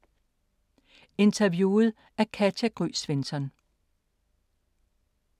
Interviewet af Katja Gry Svensson